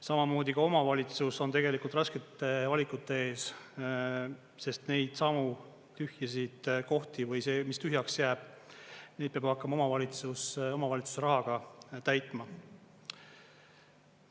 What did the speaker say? Samamoodi ka omavalitsus on tegelikult raskete valikute ees, sest neidsamu tühjasid kohti või mis tühjaks jääb, neid peab hakkama omavalitsus omavalitsuse rahaga täitma.